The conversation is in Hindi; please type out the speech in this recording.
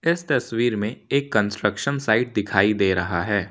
इस तस्वीर में एक कंस्ट्रक्शन साइट दिखाई दे रहा है।